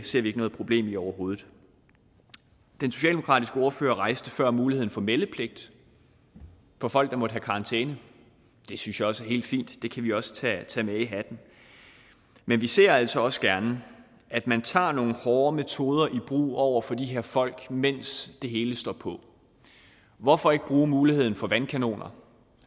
ser vi ikke noget problem i overhovedet den socialdemokratiske ordfører rejste før muligheden for meldepligt for folk der måtte have karantæne det synes jeg også er helt fint det kan vi også tage tage med i hatten men vi ser altså også gerne at man tager nogle hårdere metoder i brug over for de her folk mens det hele står på hvorfor ikke bruge muligheden for vandkanoner